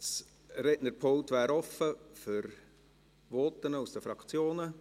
Das Rednerpult wäre offen für Voten aus den Fraktionen.